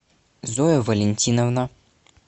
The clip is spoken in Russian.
зоя валентиновна